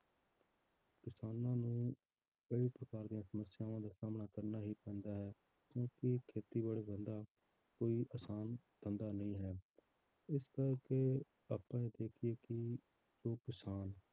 ਕਿਸਾਨਾਂ ਨੂੰ ਕਈ ਪ੍ਰਕਾਰ ਦੀਆਂ ਸਮੱਸਿਆਵਾਂ ਦਾ ਸਾਹਮਣਾ ਕਰਨਾ ਹੀ ਪੈਂਦਾ ਹੈ, ਕਿਉਂਕਿ ਖੇਤੀਬਾੜੀ ਧੰਦਾ ਕੋਈ ਆਸਾਨ ਧੰਦਾ ਨਹੀਂ ਹੈ, ਇਸ ਕਰਕੇ ਆਪਾਂ ਜੇ ਦੇਖੀਏ ਕਿ ਜੋ ਕਿਸਾਨ